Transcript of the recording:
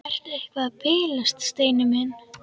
Ertu eitthvað að bilast, Steini minn?